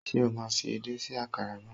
Ṣé o máa fi edé sí àkàrà náà.